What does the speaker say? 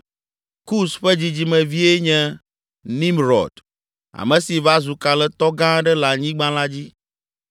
Kus ƒe dzidzimevie nye Nimrɔd, ame si va zu kalẽtɔ gã aɖe le anyigba la dzi.